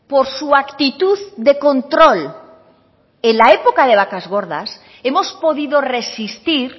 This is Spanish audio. por su actitud de control en la época de vacas gordas hemos podido resistir